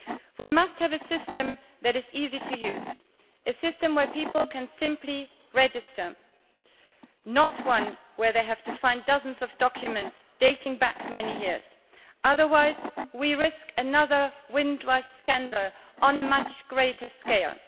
We must have a system that is easy to use, a system whereby people can simply register not one where they have to find dozens of documents dating back many years otherwise we risk another Windrush scandal on a much greater scale.